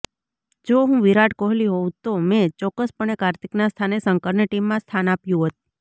જો હું વિરાટ કોહલી હોઉં તો મેં ચોક્કસપણે કાર્તિકના સ્થાને શંકરને ટીમમાં સ્થાન આપ્યું હોત